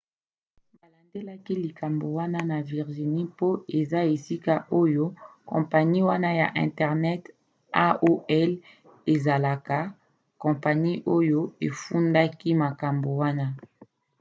balandelaki likambo wana na virginie mpo eza esika oyo kompani wana ya internet aol ezalaka kompani oyo efundaki makambo wana